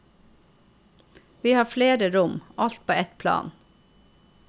Vi har flere rom, alt på ett plan.